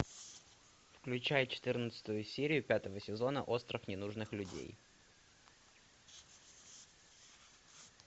включай четырнадцатую серию пятого сезона остров ненужных людей